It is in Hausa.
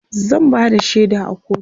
zan Bada shaida a kotu